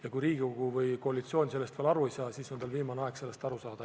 Ja kui Riigikogu või koalitsioon sellest veel aru ei ole saanud, siis on viimane aeg sellest aru saada.